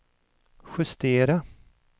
justera